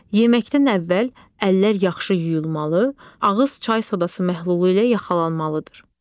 Yeməkdən əvvəl əllər yaxşı yuyulmalı, ağız çay sodası məhlulu ilə yaxalanmalıdır.